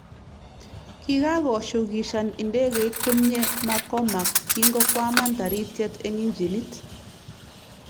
Kikagoo shukishani ndegeit komye McCormack kingo kwaman Taritiet eng injinit